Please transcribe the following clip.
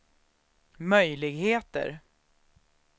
möjligheter